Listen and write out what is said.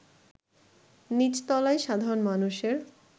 নিচতলায় সাধারণ মানুষের